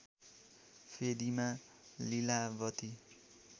फेदीमा Lilavati